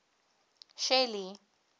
shelly